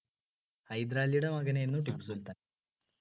ഹൈദരാലിയുടെ മകനായിരുന്നു ടിപ്പുസുൽത്താൻ